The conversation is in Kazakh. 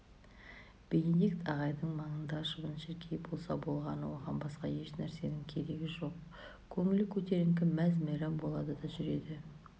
бенедикт ағайдың маңында шыбын-шіркей болса болғаны оған басқа ешнәрсенің керегі жоқ көңілі көтеріңкі мәз-мәйрам болады да жүреді